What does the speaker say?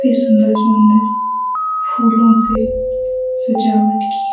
सुंदर सुंदर फूलों से सजावट की --